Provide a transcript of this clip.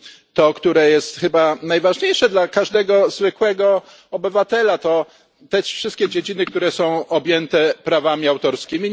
To, które jest chyba najważniejsze dla każdego zwykłego obywatela to wszystkie dziedziny objęte prawami autorskimi.